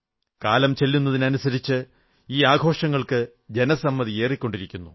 കാലംചെന്നതിനനുസരിച്ച് ഈ ആഘോഷങ്ങൾക്ക് ജനസമ്മതി ഏറിക്കൊണ്ടിരുന്നു